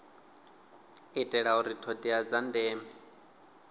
itela uri thodea dza ndeme